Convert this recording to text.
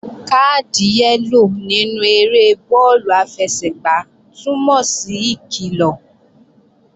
Káàdì yẹ́lò nínú eré bọ́ọ̀lù àfẹsẹ̀gbá túnmọ̀ sí ìkilọ̀